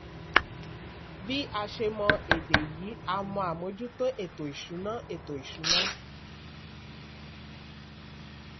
bí a ṣe mọ èdè yìí a mọ àmójútó ètò ìṣúná. ètò ìṣúná.